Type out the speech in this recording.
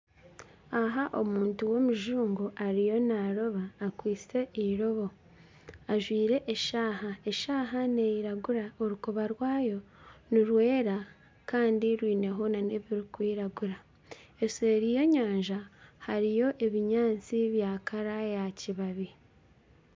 Aha omuntu w'omujungu ariyo naaroba akwitse eirobo, ajwire eshaaha, eshaaha neiragura orukoba rwayo nirwera kandi rwineho nana ebirikwiragura, eseeri y'enyanja hariyo n'ebinyaatsi bya kara yakibabi